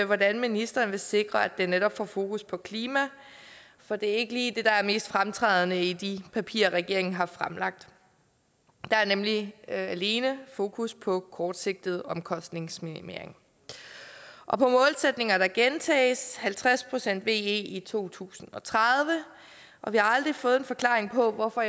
hvordan ministeren vil sikre at den netop får fokus på klima for det er ikke lige det der er mest fremtrædende i de papirer regeringen har fremlagt der er nemlig alene fokus på kortsigtet omkostningsminimering og på målsætninger der gentages halvtreds procent ve i to tusind og tredive og vi har aldrig fået en forklaring på hvorfor